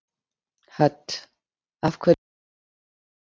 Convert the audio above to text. Hödd: Af hverju eruð þið að þessu?